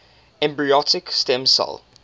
embryonic stem cell